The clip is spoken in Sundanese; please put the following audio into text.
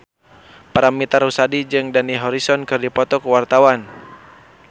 Paramitha Rusady jeung Dani Harrison keur dipoto ku wartawan